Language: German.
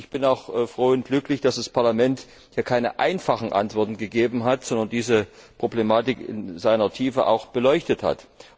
Ich bin auch froh und glücklich, dass das Parlament keine einfachen Antworten gegeben hat, sondern diese Problematik in ihrer Tiefe beleuchtet hat.